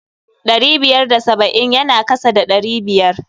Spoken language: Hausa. Ɗari biyar da saba'in ya na kasa da ɗari biyar.